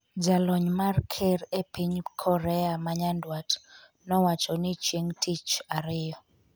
Jalony mar Ker e piny Korea ma Nyanduat nowacho ni chieng'tich ariyo